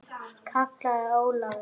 kallaði Ólafur.